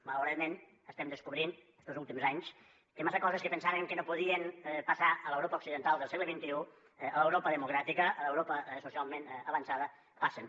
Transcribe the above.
malauradament estem descobrint estos últims anys que massa coses que pensàvem que no podien passar a l’europa occidental del segle xxi a l’europa democràtica a l’europa socialment avançada passen